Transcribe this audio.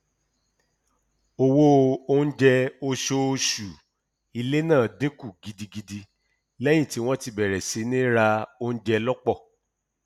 owó oúnjẹ oṣooṣù ilé náà dínkù gidigidi lẹyìn tí wọn bẹrẹ sí ní ra oúnjẹ lọpọ